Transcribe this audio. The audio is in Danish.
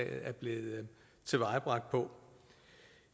er blevet tilvejebragt på